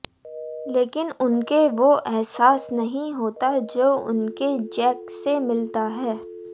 लेकिन उनके वो एहसास नहीं होता जो उनके जैक से मिलता है